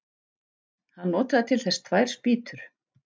Hann notaði til þess tvær spýtur.